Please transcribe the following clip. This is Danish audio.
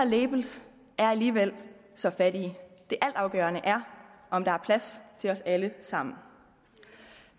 labels er alligevel så fattige det altafgørende er om der er plads til os alle sammen